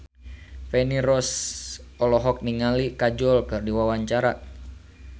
Feni Rose olohok ningali Kajol keur diwawancara